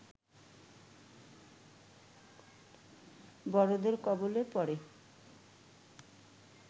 বড়দের কবলে পড়ে